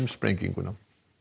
sprenginguna